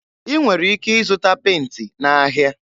Ị nwere ike ịzụta penti n'ahịa.